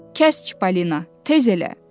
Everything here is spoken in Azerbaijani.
Kəsk Polina, tez elə!